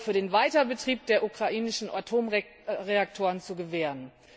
Euro für den Weiterbetrieb der ukrainischen Atomreaktoren zu gewähren.